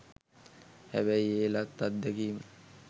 හැබැයි ඒ ලත් අත්දැකීම